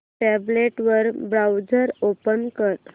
tablet वर browser open कर